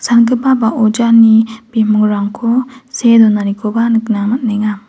sangipa ba ojani bimingrangko see donanikoba nikna man·enga.